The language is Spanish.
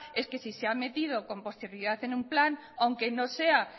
es que si se han mentido con posterioridad en un plan aunque no sea